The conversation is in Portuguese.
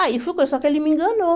Aí ficou, só que ele me enganou.